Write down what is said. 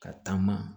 Ka taama